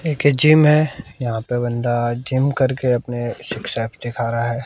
एक जिम है यहां पे बंदा जिम करके अपने सिक्स एब्स दिखा रहा है।